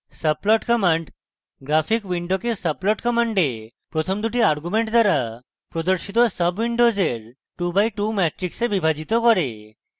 subplot command graphics window subplot command প্রথম দুটি arguments দ্বারা প্রদর্শিত সাবwindow 2 by 2 matrix বিভাজিত করে